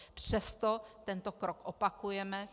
Přesto tento krok opakujeme.